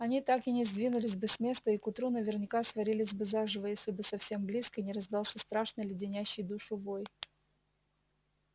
они так и не сдвинулись бы с места и к утру наверняка сварились бы заживо если бы совсем близко не раздался страшный леденящий душу вой